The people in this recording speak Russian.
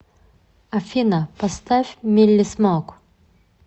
афина поставь милли смоук